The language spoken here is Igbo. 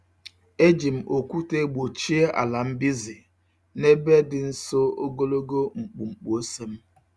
Eji m okwute gbochie ala mbize n'ebe di nso ogologo mkpumkpu ose m.